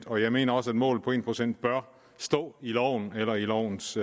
og jeg mener også at målet på en procent bør stå i loven eller lovens